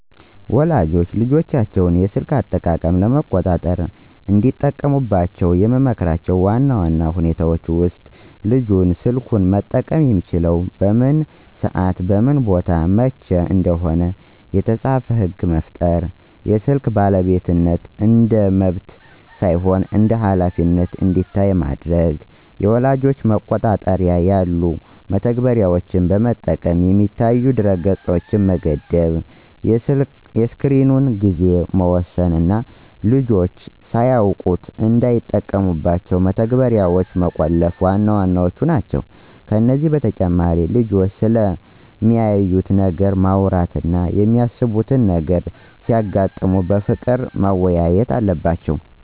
ወላጆች የልጆቻቸውን የስልክ አጠቃቀም ለመቆጣጠር እንዲጠቀሙባቸው የምመክራቸው ዋና ዋና ሁኔታዎች ውስጥ፦ ልጁ ስልኩን መጠቀም የሚችለው በምን ሰዓትና በምን ቦታ ብቻ እንደሆነ የተጻፈ ሕግ መፍጠር፣ የስልክ ባለቤትነት እንደ መብት ሳይሆን እንደ ኃላፊነት እንዲታይ ማድረግ፣ የወላጅ መቆጣጠሪያ ያሉ መተግበሪያዎችን በመጠቀም የሚታዩ ድረ-ገጾችን መገደብ፣ የስክሪን ጊዜን መወሰን እና ልጆች ሳያውቁት እንዳይጠቀሙባቸው መተግበሪያዎችን መቆለፍ ዋና ዋናዎቹ ናቸው። ከዚህ በተጨማሪ ልጆቹ ስለሚያዩት ነገር ማውራት እና የሚያሳስቡ ነገሮች ሲያጋጥሙ በፍቅር መወያየት አለባቸው።